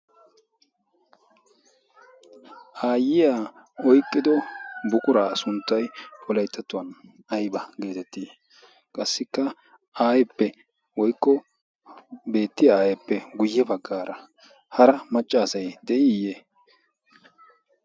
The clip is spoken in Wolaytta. aayyiya oyqqido bukuraa sunttay polaittattuwan ayba geetettii qassikka aaeppe woykko beettiya aappe guyye baggaara hara maccaasay de'ii?